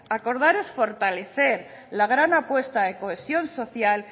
acordar es fortalecer la gran apuesta de cohesión social